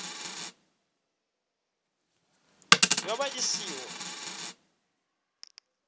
ya vha i ṱshi ḓo